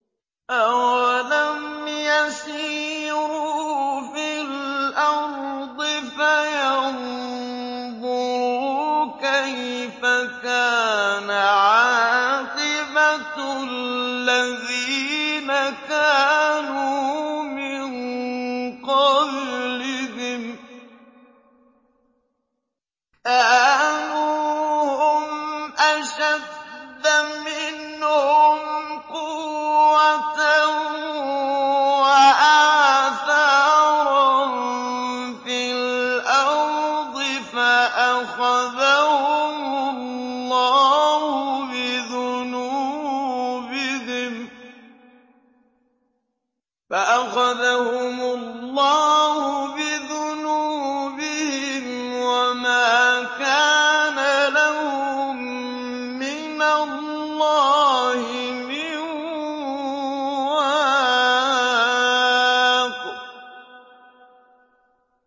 ۞ أَوَلَمْ يَسِيرُوا فِي الْأَرْضِ فَيَنظُرُوا كَيْفَ كَانَ عَاقِبَةُ الَّذِينَ كَانُوا مِن قَبْلِهِمْ ۚ كَانُوا هُمْ أَشَدَّ مِنْهُمْ قُوَّةً وَآثَارًا فِي الْأَرْضِ فَأَخَذَهُمُ اللَّهُ بِذُنُوبِهِمْ وَمَا كَانَ لَهُم مِّنَ اللَّهِ مِن وَاقٍ